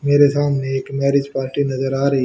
मेरे सामने एक मैरिज पार्टी नजर आ रही--